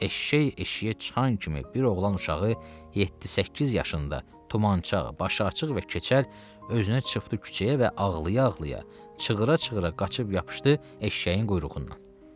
Eşşək eşşəyə çıxan kimi bir oğlan uşağı yeddi-səkkiz yaşında tumançaq, başı açıq və keçəl özünə çıxdı küçəyə və ağlaya-ağlaya, çığıra-çığıra qaçıb yapışdı eşşəyin quyruğundan.